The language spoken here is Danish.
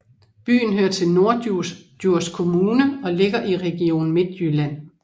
Byen hører til Norddjurs Kommune og ligger i Region Midtjylland